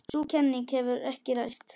Sú kenning hefur ekki ræst.